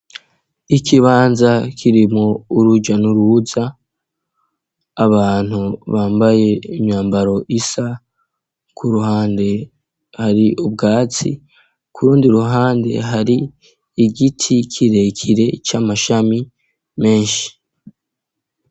Ikibanza kirimo uruja n'uruza, abantu bambaye imyambaro isa, ku ruhande hari ubwatsi, ku rundi ruhande hari igiti kirekire c'amashami menshi.